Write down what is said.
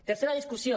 tercera discussió